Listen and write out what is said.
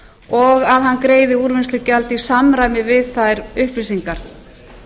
og að hann greiði úrvinnslugjald í samræmi við þær upplýsingar